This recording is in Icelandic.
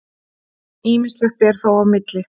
Ýmislegt ber þó á milli.